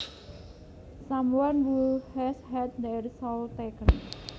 Someone who has had their soul taken